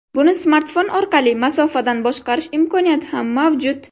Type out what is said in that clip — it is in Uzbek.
Buni smartfon orqali masofadan boshqarish imkoniyati ham mavjud.